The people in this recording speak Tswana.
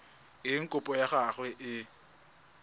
eng kopo ya gago e